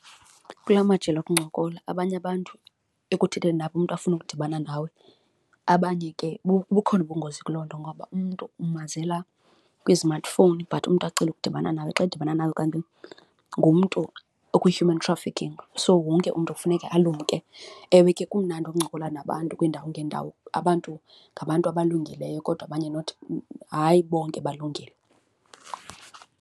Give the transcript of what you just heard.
Kula majelo okuncokola abanye abantu ekuthetheni nabo umntu afune ukudibana nawe, abanye ke bukhona ubungozi kuloo nto ngoba umntu amazela kwi-smartphone but umntu acele ukudibana nawe, xa edibana nayo kanti ngumntu okwi-human trafficking. So, wonke umntu kufuneka ulumke, ewe ke kumnandi okuncokola nabantu kwiindawo ngeendawo. Abantu ngabantu abalungileyo kodwa abanye not hayi bonke balungile.